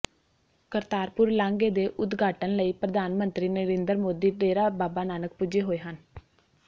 ਕਰਤਾਰਪੁਰ ਲਾਂਘੇ ਦੇ ਉਦਘਾਟਨ ਲਈ ਪ੍ਰਧਾਨ ਮੰਤਰੀ ਨਰਿੰਦਰ ਮੋਦੀ ਡੇਰਾ ਬਾਬਾ ਨਾਨਕ ਪੁੱਜੇ ਹੋਏ ਹਨ